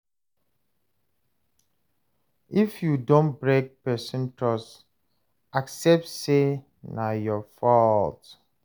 If you don break person trust, accept sey na your fault